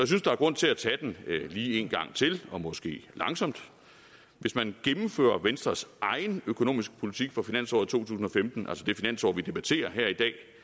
synes der er grund til at tage den lige en gang til og måske langsomt hvis man gennemfører venstres egen økonomiske politik for finansåret to tusind og femten altså det finansår vi debatterer her i